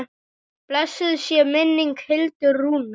Blessuð sé minning Hildar Rúnu.